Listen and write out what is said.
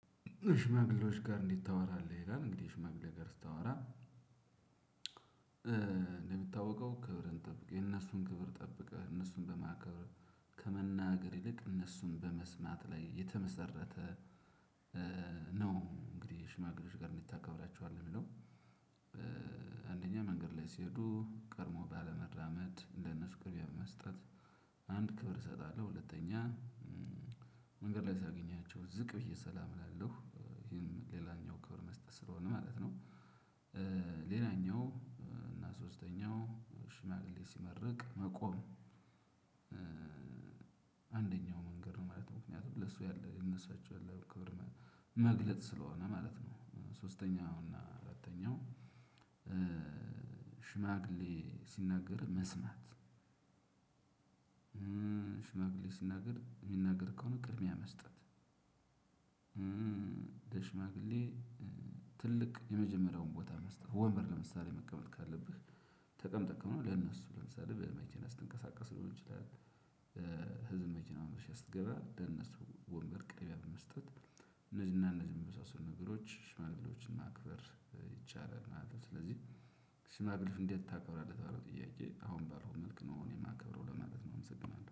ሽማግሌዎች ጋር እንዴት ታወራለህ አለ ይላል እንግዲህ ሽማግሌ ጋር ስታወራ። እንደሚታወቀው ክብርን ጠብቀህ የነሱን ክብር ጠብቀህ እነሱን በማከብር ከመናገር ይልቅ እነሱን በመስማት ላይ የተመሰረተ ነው። እንግዲህ ሽማግሌዎች ጋር እንዴት ታከብራቸዋለህ ሚለው? አንደኛ መንገድ ላይ ሲሄዱ ቀድሞ ባለ መራመድ ለነሱ ቅድሚያ በመስጠት አንድ ክብር እሰጣለሁ። ሁለተኛ መንገድ ላይ ሳገኛቸው ዝቅ ብዬ ሰላም እላለሁ ይሄም ሌላኛው ክብር መስጠት ስለሆነ ማለት ነው። ሌላኛው እና ሶስተኛው ሽማግሌ ሲመርቅ መቆም። አንደኛው መንገድ ነው ማለት ምክንያቱም ለሱ ያለ ለሳቸው ያለ ክብር መግለጥ ስለሆነ ማለት ነው። ሶስተኛው እና አራተኛው ሽማግሌ ሲናገር መስማት። ስናገር ሚናገር ከሆነ ቅድሚያ መስጠት። ሽማግሌ ትልቅ የመጀመሪያውን ቦታ መስጠት ወንበር ለምሳሌ መቀመጥ ካለብህ ተቀምጠክም ነው ለነሱ ለምሳሌ በመቼና ስትንቀሳቀስ ሊሆን ይችላል። ህዝብ መቼና መሸሽ ስትገባ ለነሱ ቅርብ መስጠት እነዚህና እነዚህ የሚመሳሰሉ ነገሮች ሽማግሌዎችና ማክበር ይቻላል። እና ስለዚህ ስማ ግልፍ እንዴት ታከብራለች ለተባለው ጥያቄ? አሁን ባለው መልክ ነው አሁን የማከብረው ለማለት ነው አመሰግናለሁ